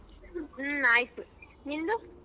ಹ್ಮ ಆಯ್ತು ನಿಂದು.